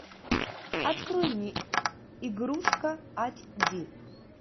открой мне игрушка айч ди